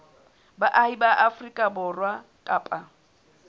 baahi ba afrika borwa kapa